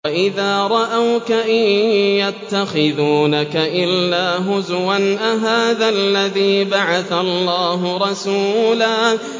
وَإِذَا رَأَوْكَ إِن يَتَّخِذُونَكَ إِلَّا هُزُوًا أَهَٰذَا الَّذِي بَعَثَ اللَّهُ رَسُولًا